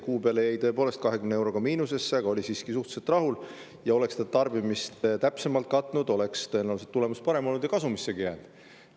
Kuu peale jäi ta tõepoolest 20 euroga miinusesse, aga ta oli siiski suhteliselt rahul, sest kui ta oleks tarbimist täpsemalt katnud, siis oleks tulemus tõenäoliselt parem olnud ja ta oleks kasumissegi.